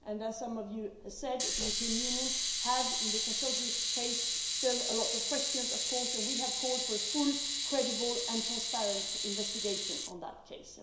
Also, as some of you said, the European Union has in the Khashoggi case still a lot of questions, of course, and we have called for a full, credible and transparent investigation on that case.